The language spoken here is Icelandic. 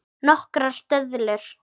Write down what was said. Nokkrar döðlur